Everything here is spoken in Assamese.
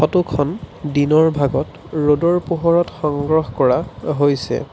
ফটোখন দিনৰ ভাগত ৰ'দৰ পোহৰত সংগ্ৰহ কৰা হৈছে।